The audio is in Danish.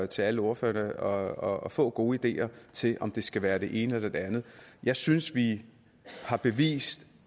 til alle ordførerne og få gode ideer til om det skal være det ene eller det andet jeg synes vi har bevist